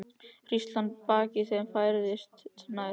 Hríslan að baki þeim færðist nær.